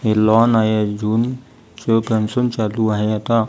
हे लॉन आहे अजून चोकन्शन चालू आहे आता --